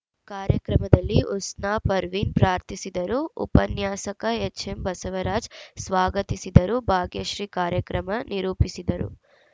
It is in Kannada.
ಕಾರ್ಯಕ್ರಮದಲ್ಲಿ ಉಸ್ನಾ ಪರ್ವಿನ್‌ ಪ್ರಾರ್ಥಿಸಿದರು ಉಪನ್ಯಾಸಕ ಎಚ್‌ಎಂ ಬಸವರಾಜ್‌ ಸ್ವಾಗತಿಸಿದರು ಭಾಗ್ಯಶ್ರೀ ಕಾರ್ಯಕ್ರಮ ನಿರೂಪಿಸಿದರು